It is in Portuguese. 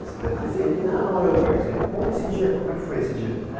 Você deve ter feito... Como foi esse Assim Não, eu... Conta esse dia, como é que foi esse dia.